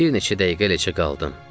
Bir neçə dəqiqə eləcə qaldım.